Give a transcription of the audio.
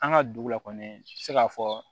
An ka dugu la kɔni i bɛ se k'a fɔ